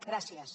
gràcies